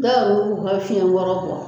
Dɔw yɛru b'u ka fiɲɛ kɔrɔ bɔ